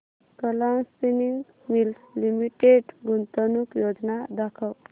Kalam spinning mills limited गुंतवणूक योजना दाखव